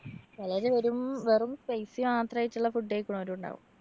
ചെലര് വെറും, വെറും spicy മാത്രായിട്ടുള്ള food കഴിക്കിന്നോരും ഉണ്ടാവും.